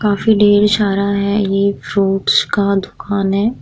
काफी ढेर सारा है ये फ्रूट्स का दुकान है।